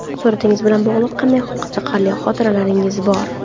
Suratingiz bilan bog‘liq qanday qiziqarli xotiralaringiz bor?